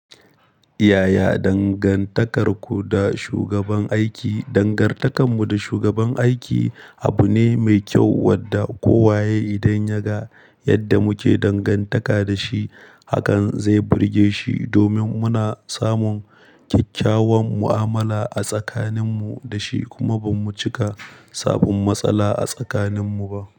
Yaya dangantakarku da shugaban aiki? Dangantakarmu da shugaban aiki abu ne mai kyau wanda kowa ya yi idan ya ga yadda muke dangantaka da shi. Hakan zai burge shi domin muna samun kyakkyawan mu'amala a tsakaninmu da shi kuma ba mu cika samun matsala a tsakaninmu ba.